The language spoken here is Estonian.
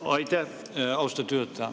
Aitäh, austatud juhataja!